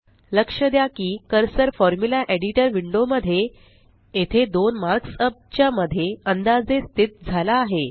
लक्ष द्या की कर्सर फॉर्म्युला Editorविंडो मध्ये येथे दोन मार्क्सअप च्या मध्ये अंदाजे स्थित झाला आहे